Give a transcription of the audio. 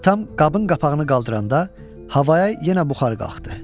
Atam qabın qapağını qaldıranda havaya yenə buxar qalxdı.